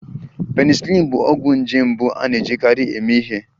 Penicillin bụ ọgwụ nje mbụ a na-ejikarị eme ihe